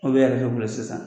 Aw bɛ y'a kɛ ne bolo sisan.